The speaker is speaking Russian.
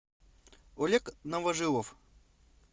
олег новожилов